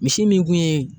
Misi min kun ye